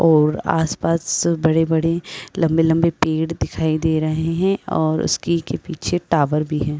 और आसपास बड़े-बड़े लंबे-लंबे पेड़ दिखाई दे रहे हैं और उसकी के पीछे टावर भी है।